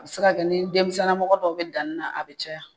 A bɛ se ka kɛ ni denmisɛnnin lamɔgɔ dɔw bɛ danni na a bɛ caya.